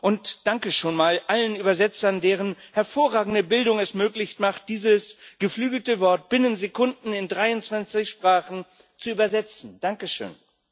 und danke schon mal allen Dolmetschern, deren hervorragende Bildung es möglich macht, dieses geflügelte Wort binnen Sekunden in dreiundzwanzig Sprachen zu dolmetschen danke schön!